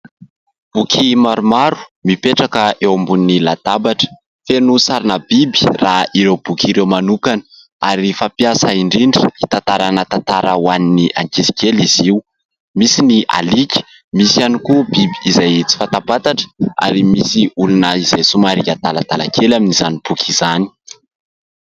Boky maromaro mipetraka eo ambonin'ny latabatra. Feno sarina biby raha ireo boky ireo manokana ary fampiasa indrindra hitantarana tantara ho an'ny ankizy kely izy io, misy ny alika, misy ihany koa biby izay tsy fatapantatra ary misy olona izay somary adaladala kely amin'izany boky izany.